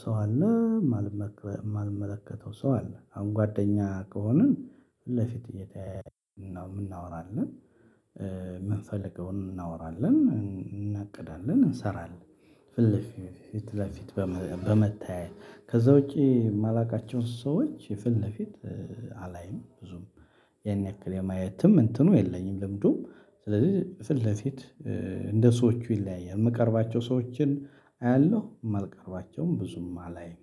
ሰው አለ የማልመከለ እማልመለከተው ሰው አለ። አሁን አንጓደኛ ከሆንን ፊት ለፊት እየተያየን ነው እምና እናወራለን የምንፈልገውን እናወራለን እናቅዳለን እንሰራለን። ፊት ለፊት በመ በመተያየት ከዛ ውጪ እማላቃቸውን ሰዎች ፊት ለፊት ኧ አላይም። ብዙም ያን ያክል የማየትም እንትኑ የለኝም። ልምዱ ስለዚህ ፍለፊት እንደ ሰዎቹ ይለያያል። የምቀርባቸው ሰዎችን አያለሁ እማልቀርባቸውን ብዙም አላይም።